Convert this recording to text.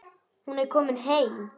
Hún er komin heim.